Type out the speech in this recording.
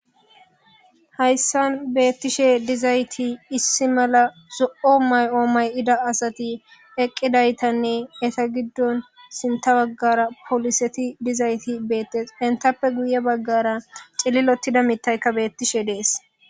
Hayssan beetishe dizayti issi mala zo'o ma'o ma'ida asati eqidaytanne etta giddon sinththa bagara poliseti dizayti beetees. Enttappe guye bagara cililetida miththaykka beeetish de'ees.